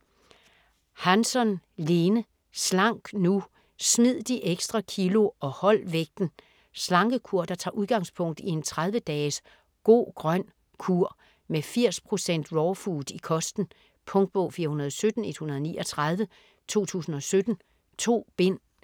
Hansson, Lene: Slank nu!: smid de ekstra kilo og hold vægten Slankekur der tager udgangspunkt i en 30 dages "Go-grøn kur" med 80% raw food i kosten. Punktbog 417139 2017. 2 bind.